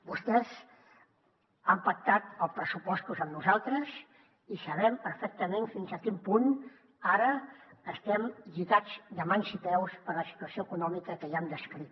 vostès han pactat els pressupostos amb nosaltres i sabem perfectament fins a quin punt ara estem lligats de mans i peus per la situació econòmica que ja hem descrit